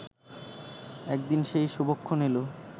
একদিন সেই শুভক্ষণ এল